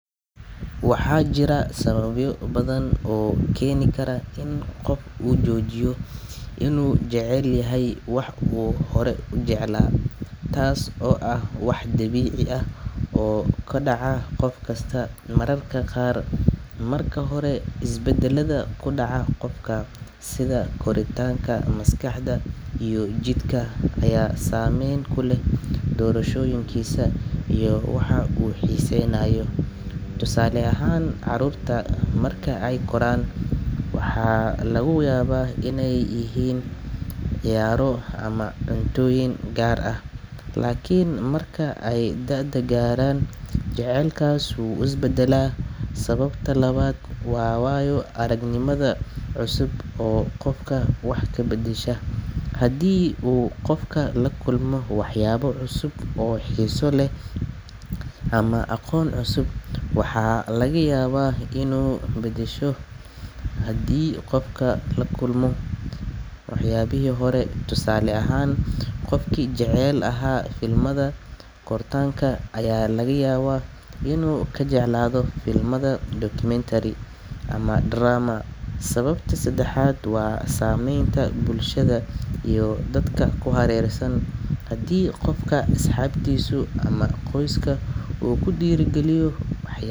Waxaa jira sababyo badan oo keeni kara in qof uu joojiyo inuu jecel yahay wax uu hore u jeclaa, taas oo ah wax dabiici ah oo ku dhaca qof kasta mararka qaar. Marka hore, isbeddelada ku dhaca qofka sida koritaanka maskaxda iyo jidhka ayaa saameyn ku leh doorashooyinkiisa iyo waxa uu xiiseynayo. Tusaale ahaan, carruurta marka ay koraan, waxa laga yaabaa inay jecel yihiin ciyaaro ama cuntooyin gaar ah, laakiin marka ay da’da gaaraan, jecaylkaas wuu isbedelaa. Sababta labaad waa waayo-aragnimada cusub oo qofka wax ka beddesha. Haddii uu qofku la kulmo waxyaabo cusub oo xiiso leh ama aqoon cusub, waxa laga yaabaa inuu ka baxo waxyaabihii hore. Tusaale ahaan, qofkii jecel ahaa filimada kartoonka ayaa laga yaabaa inuu ka jeclaado filimada documentary ama drama. Sababta saddexaad waa saamaynta bulshada iyo dadka ku hareeraysan, haddii qofka asxaabtiisu ama qoyska uu ku dhiirrigeliyo wax.